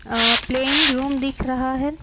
अ playing room दिख रहा है।